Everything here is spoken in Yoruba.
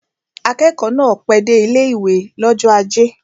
Akẹ́kọ̀ọ́ náà pẹ́ dé ilé-ìwé l'ọ́jọ́ ajé